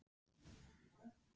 Hvað gera sagnfræðingar?